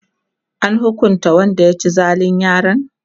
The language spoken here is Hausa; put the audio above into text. an hukunta Wanda ya ci zalin yaran?